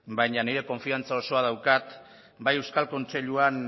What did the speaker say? baina nire konfiantza osoa daukat bai euskal kontseiluan